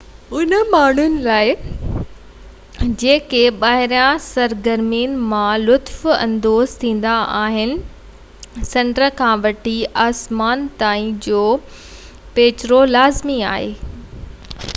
انهن ماڻهن لاءِ جيڪي ٻاهرين سرگرمين مان لطف اندوز ٿيندا آهن سمنڊ کان وٺي آسمان تائين جو پيچرو لازمي آهي